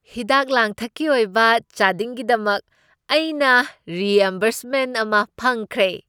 ꯍꯤꯗꯥꯛ ꯂꯥꯡꯊꯛꯀꯤ ꯑꯣꯏꯕ ꯆꯥꯗꯤꯡꯒꯤꯗꯃꯛ ꯑꯩꯅ ꯔꯤꯑꯦꯝꯕꯔꯁꯃꯦꯟꯠ ꯑꯃ ꯐꯪꯈ꯭ꯔꯦ ꯫